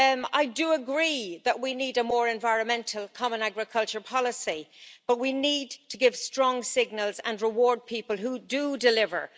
I do agree that we need a more environmental Common Agricultural Policy, but we need to give strong signals and reward people who do deliver.